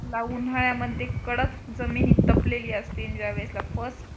उन्हाळ्यामध्ये कडक जमीन तपलेली असते आणि ज्या वेळेसला first